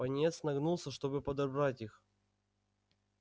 пониетс нагнулся чтобы подобрать их